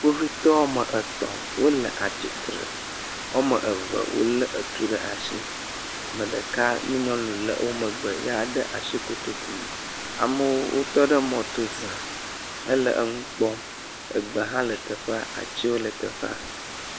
Kpovitɔ ame tɔ̃ wole atsi tre. Wo ame eve wolé etu ɖe ashi. Ame ɖeka nyɔnu le wo megbe, yaa de ashi kotoku me. Amewo wotɔ ɖe mɔto zã hele nu kpɔm. egbewo le teƒea. Atsiwo hã le teƒea.